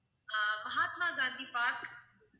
ஆஹ் Mahatma Gandhi park